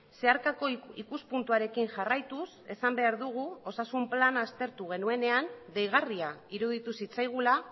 zeharkako ikuspuntuarekin jarraituz esan behar dugu osasun plana aztertu genuenean deigarria iruditu zitzaigula